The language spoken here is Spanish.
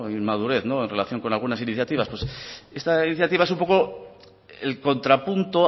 inmadurez en relación con algunas iniciativas pues esta iniciativa es un poco el contrapunto